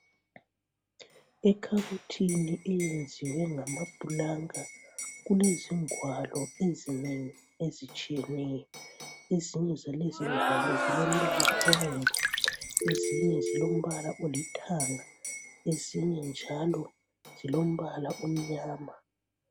ekhabothini eyenziwe ngamaplanka kulezingwalo ezinengi ezitshiyeneyo ezinye zalezi ingwalo zilombala obomvu ezinye zilombala olithanga ezinye njalo zilombala omnyama